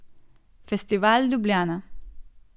Festival Ljubljana.